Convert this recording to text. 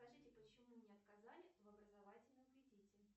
скажите почему мне отказали в образовательном кредите